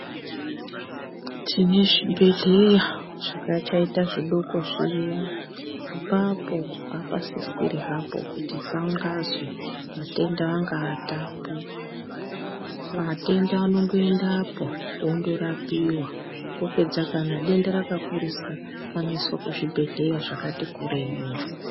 Tine zvibhedhleya zvichakaita zvidoko zviyaa. Apapo hapasisiri hapo kuti pangazi atenda angaatapo. Vatenda vanongoendapo vondorapiwa, vopedza kana denda rakakurisa vanoiswa kuzvibhendleya zvakati kurei.